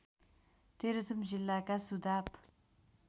तेह्रथुम जिल्लाका सुदाप